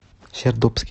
сердобске